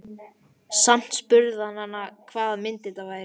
Samt spurði hann hana hvaða mynd þetta væri.